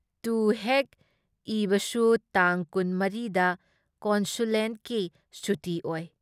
ꯇꯧ ꯍꯦꯛ ꯏꯕꯁꯨ ꯇꯥꯡ ꯀꯨꯟ ꯃꯔꯤ ꯗ ꯀꯣꯟꯁꯨꯂꯦꯠꯀꯤ ꯁꯨꯇꯤ ꯑꯣꯏ ꯫